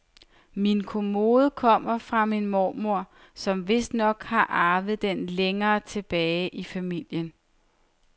Min kommode kommer fra min mormor, som vistnok har arvet den længere tilbage i familien.